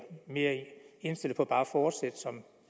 mere indstillet på bare at fortsætte som